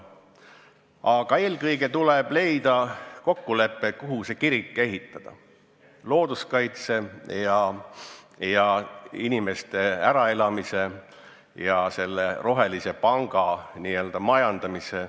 Aga eelkõige tuleb leida kokkulepe, kuhu see kirik ehitada: kuidas tagada looduskaitse ja inimeste äraelamine ja selle rohelise panga majandamine.